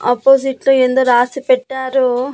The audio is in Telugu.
ఆపోజిట్ లో ఏందో రాసి పెట్టారు.